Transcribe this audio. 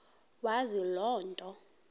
wazi loo nto